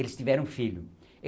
Eles tiveram um filho.